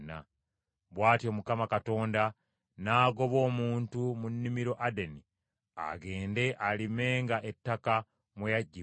Bw’atyo Mukama Katonda n’agoba omuntu mu nnimiro Adeni agende alimenga ettaka mwe yaggyibwa.